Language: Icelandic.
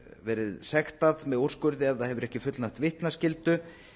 verið sektað með úrskurði ef það hefur ekki fullnægt vitnaskyldu